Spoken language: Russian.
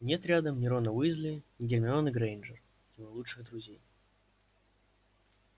нет рядом ни рона уизли ни гермионы грэйнджер его лучших друзей